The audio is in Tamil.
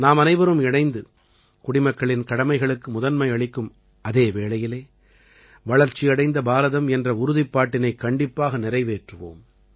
நாமனைவரும் இணைந்து குடிமக்களின் கடமைகளுக்கு முதன்மை அளிக்கும் அதே வேளையிலே வளர்ச்சியடைந்த பாரதம் என்ற உறுதிப்பாட்டினைக் கண்டிப்பாக நிறைவேற்றுவோம்